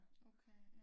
Okay ja